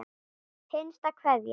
Hinsta kveðja.